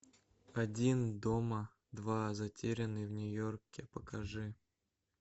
один дома два затерянный в нью йорке покажи